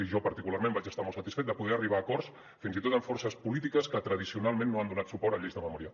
i jo particularment vaig estar molt satisfet de poder arribar a acords fins i tot amb forces polítiques que tradicionalment no han donat suport a lleis de memòria